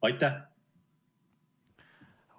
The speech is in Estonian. Aitäh!